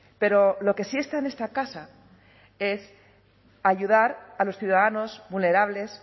pero lo que sí está en esta casa es ayudar a los ciudadanos vulnerables